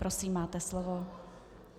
Prosím, máte slovo.